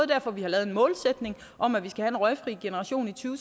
derfor vi har lavet en målsætning om at vi skal have en røgfri generation i to